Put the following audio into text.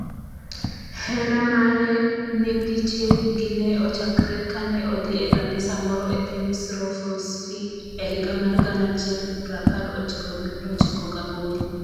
Hera mare ne piche gi ne ochakore kane odhi e kanisa moro e piny Shropshire e higa mar gana achiel prapar ochiko gi prochiko gaboro.